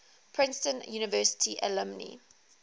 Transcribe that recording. princeton university alumni